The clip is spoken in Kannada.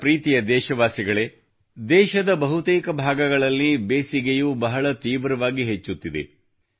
ನನ್ನ ಪ್ರೀತಿಯ ದೇಶವಾಸಿಗಳೇ ದೇಶದ ಬಹುತೇಕ ಭಾಗಗಳಲ್ಲಿ ಬೇಸಿಗೆಯು ಬಹಳ ತೀವ್ರವಾಗಿ ಹೆಚ್ಚುತ್ತಿದೆ